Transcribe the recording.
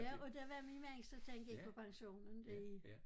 Ja og det var min mand så tænkte ikke på pensionen der